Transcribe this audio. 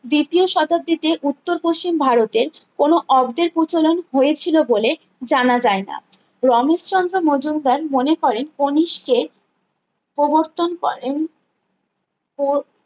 দ্বিতীয় শতাব্দীতে উত্তর পশ্চিম ভারতের কোনো অব্দের প্রচলন হয়েছিল বলে জানা যায় না রমেশচন্দ্র মজুমদার মনে করেন কণিষ্কের প্রবর্তন করেন প্র